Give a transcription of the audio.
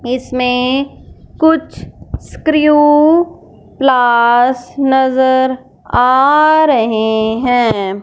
इसमें कुछ स्क्रू प्लास नजर आ रहे हैं।